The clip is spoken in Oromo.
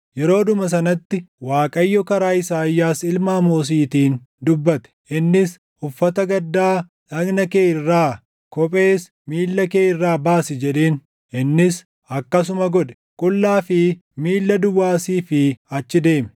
yeroodhuma sanatti Waaqayyo karaa Isaayyaas ilma Amoosiitiin dubbate. Innis, “Uffata gaddaa dhagna kee irraa, kophees miilla kee irraa baasi” jedheen. Innis akkasuma godhe; qullaa fi miilla duwwaa asii fi achi deeme.